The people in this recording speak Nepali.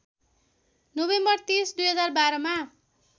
नोभेम्बर ३० २०१२ मा